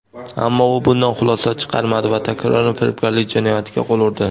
Ammo u bundan xulosa chiqarmadi va takroran firibgarlik jinoyatiga qo‘l urdi.